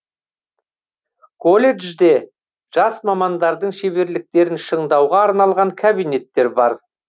колледжде жас мамандардың шеберліктерін шыңдауға арналған кабинеттер бар